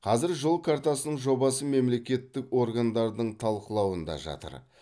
қазір жол картасының жобасы мемлекеттік органдардың талқылауында жатыр